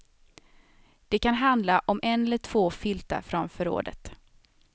Det kan handla om en eller två filtar från förrådet.